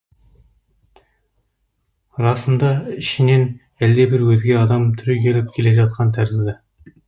расында ішінен әлдебір өзге адам түрегеліп келе жатқан тәрізді